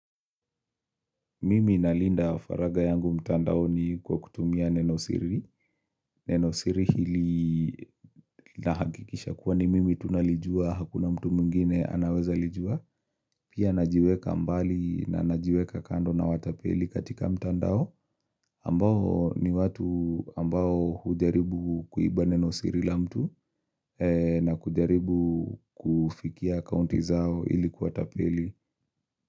Mimi na Linda faraga yangu mtandao ni kwa kutumia nenosiri. Nenosiri hili nahakikisha kuwa ni mimi tunalijua hakuna mtu mungine anaweza lijua. Pia najiweka mbali na najiweka kando na watapeli katika mtandao. Ambao ni watu ambao hujaribu kuiba nenosiri la mtu na hujaribu kufikia akounti zao hili kuwatapeli.